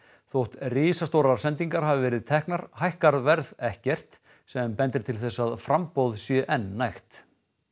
þótt risastórar sendingar hafi verið teknar hækkar verð ekkert sem bendir til þess að framboðið sé enn nægt